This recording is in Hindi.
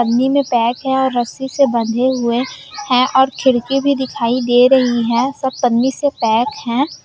पन्नी में पैक है और रस्सी से बंधे हुए है और खिड़की भी दिखाई दे रहे है सब पन्नी से पैक है।